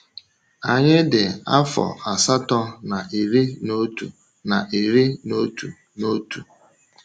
Anyị dị afọ asatọ na iri n’otu na iri n’otu n’otu.